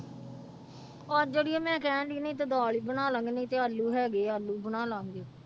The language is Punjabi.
ਅੱਜ ਅੜੀਏ ਮੈਂ ਕਹਿਣਡੀ ਨਹੀਂ ਤੇ ਦਾਲ ਹੀ ਬਣਾ ਲਵਾਂਗੇ ਨਹੀਂ ਤੇ ਆਲੂ ਹੈਗੇ ਹੈ ਆਲੂ ਬਣਾ ਲਵਾਂਗੇ।